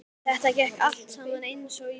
Þetta gekk allt saman eins og í sögu.